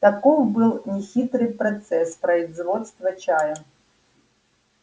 таков был нехитрый процесс производства чая